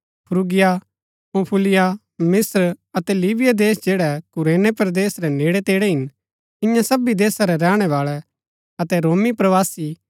फ्रूगिया पंफूलिया मिस्त्र अतै लीबिया देश जैड़ै कुरैने परदेस रै नेड़ै तेड़ै हिन इन्या सबी देशा रै रैहणै बाळै अतै रोमी प्रवासी